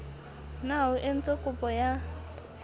na o entse kopo ya